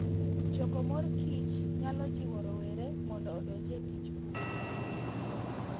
Choko mor kich nyalo jiwo rowere mondo odonj e tij pur.